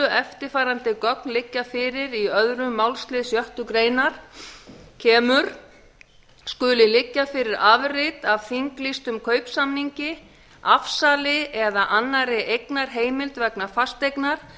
eftirfarandi gögn liggja fyrir í öðrum málsl sjöttu málsgrein kemur skuli liggja fyrir afrit af þinglýstum kaupsamningi afsali eða annarri eignarheimild vegna fasteignar